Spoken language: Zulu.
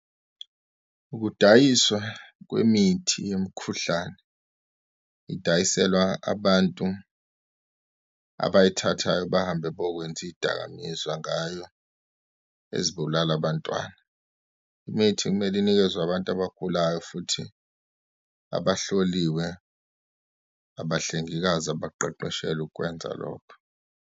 Ukudayiswa kwemithi yemkhuhlane, idayiselwa abantu abayithathayo bahambe bokwenza iyidakamizwa ngayo, ezibulala abantwana. Imithi kumele inikezwe abantu abagulayo, futhi abahloliwe, abahlengikazi abaqeqeshelwe ukukwenza lokho.